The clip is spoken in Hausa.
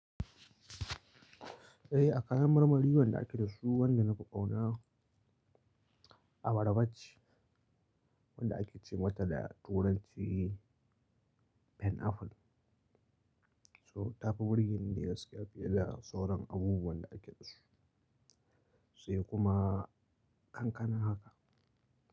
Eh, a kayan marmari wanda ake da su wanda na fi ƙauna, abarba ce, wanda ake ce mata da turanci pineapple. To, tafi burge ni dai gaskiya fiye da sauran abubuwan da ake da su, sai kuma kankana haka.